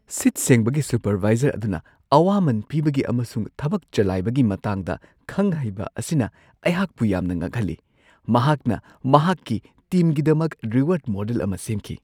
ꯁꯤꯠ-ꯁꯦꯡꯕꯒꯤ supervisor ꯑꯗꯨꯅ ꯑꯋꯥꯃꯟ ꯄꯤꯕꯒꯤ ꯑꯃꯁꯨꯡ ꯊꯕꯛ ꯆꯂꯥꯏꯕꯒꯤ ꯃꯇꯥꯡꯗ ꯈꯪ-ꯍꯩꯕ ꯑꯁꯤꯅ ꯑꯩꯍꯥꯛꯄꯨ ꯌꯥꯝꯅ ꯉꯛꯍꯜꯂꯤ ꯫ꯃꯍꯥꯛꯅ ꯃꯍꯥꯛꯀꯤ ꯇꯤꯝꯒꯤꯗꯃꯛ ꯔꯤꯋꯥꯔꯗ ꯃꯣꯗꯦꯜ ꯑꯃ ꯁꯦꯝꯈꯤ ꯫